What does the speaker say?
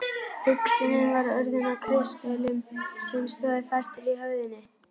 Hugsunin var orðin að kristöllum sem stóðu fastir í höfðinu.